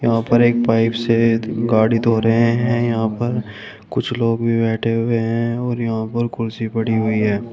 यहां पर एक पाइप से गाड़ी धो रहे हैं यहां पर कुछ लोग भी बैठे हुए हैं और यहां पर कुर्सी पड़ी हुई है।